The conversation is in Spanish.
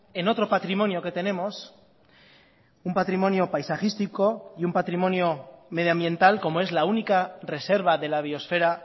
en otro patrimonio que tenemos un patrimonio paisajístico y un patrimonio medioambiental como es la única reserva de la biosfera